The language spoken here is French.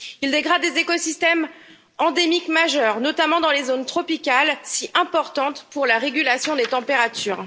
Il dégrade les écosystèmes endémiques majeurs, notamment dans les zones tropicales, si importantes pour la régulation des températures.